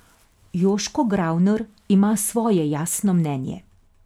Joško Gravner ima svoje jasno mnenje.